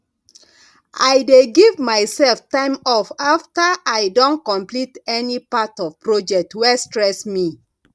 i dey give myself time off after i don complete any part of project wey stress me